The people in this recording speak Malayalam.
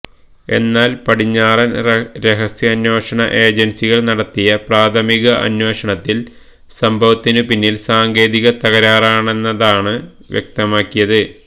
എന്നാൽ പടിഞ്ഞാറൻ രഹസ്യാന്വേഷണ ഏജൻസികൾ നടത്തിയ പ്രാഥമിക അന്വേഷണത്തിൽ സംഭവത്തിനു പിന്നിൽ സാങ്കേതിക തകരാറാണെന്നാണ് വ്യക്തമാക്കിയത്